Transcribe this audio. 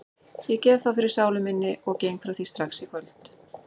Ég gef þá fyrir sálu minni og geng frá því strax í kvöld.